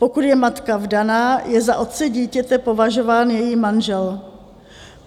Pokud je matka vdaná, je za otce dítěte považován její manžel.